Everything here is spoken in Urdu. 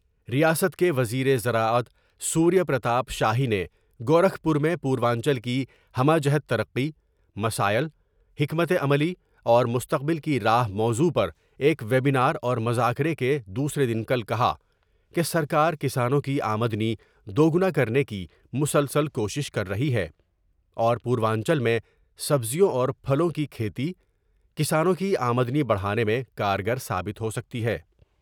ریاست کے وزیر زراعت سوریہ پرتاپ شاہی نے گورکھپور میں پوروانچل کی ہمہ جہت ترقی ، مسائل ، حکمت عملی اور مستقبل کی راہ موضوع پر ایک وبینا راور مذاکرے کے دوسرے دن کل کہا کہ سرکار کسانوں کی آمدنی دوگنا کرنے کی مسلسل کوشش کر رہی ہے اور پوروانچل میں سبزیوں اور پھلوں کی کھیتی ، کسانوں کی آمدنی بڑھانے میں کارگر ثابت ہوسکتی ہے ۔